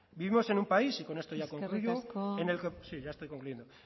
eskerrik asko sí ya estoy terminando